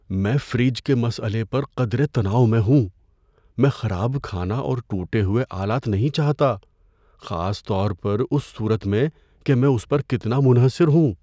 میں فریج کے مسئلے پر قدرے تناؤ میں ہوں۔ میں خراب کھانا اور ٹوٹے ہوئے آلات نہیں چاہتا، خاص طور پر اس صورت میں کہ میں اس پر کتنا منحصر ہوں۔